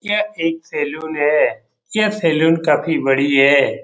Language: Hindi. यह एक सैलून है यह सैलून काफी बड़ी है।